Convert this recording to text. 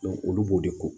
olu b'o de ko